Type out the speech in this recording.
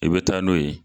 I bɛ taa n'o ye